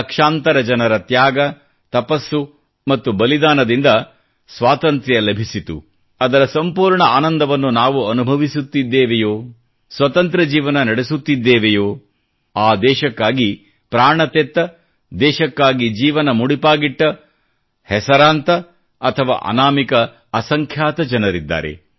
ಲಕ್ಷಾಂತರ ಜನರ ತ್ಯಾಗ ತಪಸ್ಸು ಮತ್ತು ಬಲಿದಾನದಿಂದ ಸ್ವತಂತ್ರ ಲಭಿಸಿತು ಅದರ ಸಂಪೂರ್ಣ ಆನಂದವನ್ನು ನಾವು ಅನುಭವಿಸುತ್ತಿದ್ದೇವೆಯೋ ಸ್ವತಂತ್ರ ಜೀವನ ನಡೆಸುತ್ತಿದ್ದೇವೆಯೋ ಆ ದೇಶಕ್ಕಾಗಿ ಪ್ರಾಣ ತೆತ್ತ ದೇಶಕ್ಕಾಗಿ ಜೀವನ ಮುಡಿಪಾಗಿಟ್ಟ ಹೆಸರಾಂತ ಅಥವಾ ಅನಾಮಿಕ ಅಸಂಖ್ಯಾತ ಜನರಿದ್ದಾರೆ